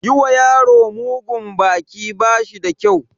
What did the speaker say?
Yi ma yaro mugun baki ba shi da kyau.